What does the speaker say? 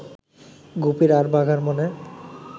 গুপির আর বাঘার মনে